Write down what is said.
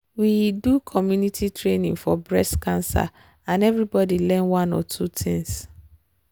we do community training for breast cancer and everybody learn one or two things.